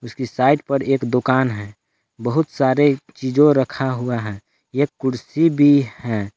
Side पर एक दुकान है बहुत सारे चिजो रखा हुआ है एक कुर्सी भी है।